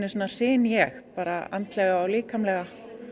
hryn ég andlega og líkamlega